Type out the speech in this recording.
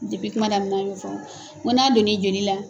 Dipi kuma damina na n y'o fɔ n ko n'a donn'i joli la